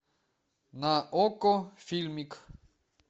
на окко фильмик